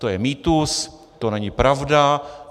To je mýtus, to není pravda.